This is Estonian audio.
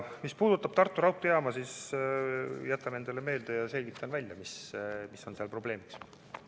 Mis puudutab Tartu raudteejaama, siis jätan selle endale meelde ja selgitan välja, mis probleem seal on.